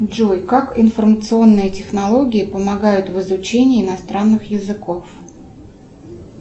джой как информационные технологии помогают в изучении иностранных языков